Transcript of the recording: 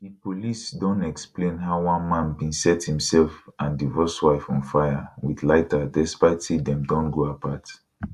di police don explain how one man bin set imsef and divorced wife on fire wit lighter despite say dem don go apart